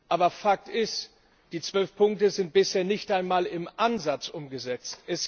Aber Fakt ist Die zwölf Punkte sind bisher nicht einmal im Ansatz umgesetzt.